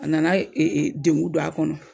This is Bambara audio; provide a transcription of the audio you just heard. A nana e e dengun don a kɔnɔ